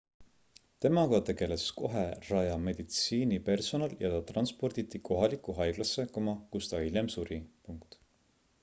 temaga tegeles kohe raja meditsiinipersonal ja ta transporditi kohalikku haiglasse kus ta hiljem suri